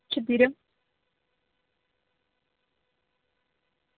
четыре